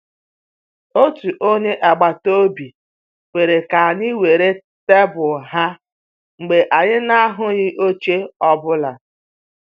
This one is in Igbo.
Otu onye agbata obi kwere ka anyị jiri tebụl ha mgbe anyị na-ahụghị oche ọ bụla